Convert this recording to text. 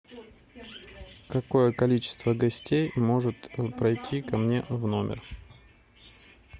какое количество гостей может пройти ко мне в номер